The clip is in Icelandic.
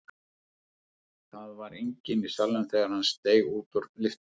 Það var enginn í salnum þegar hann steig út úr lyftunni.